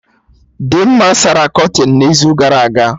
Dimma sara kọtịnụ n'izu gara aga